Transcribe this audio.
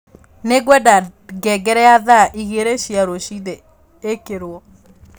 nĩ ngwenda ngengere ya thaa igiri cia ruciini ikirwo